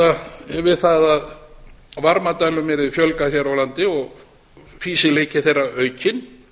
að við það að varmadælum yrði fjölgað hér á landi og fýsileika þeirra aukinn